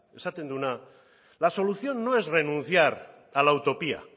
esaten duena la solución no es renunciar a la utopía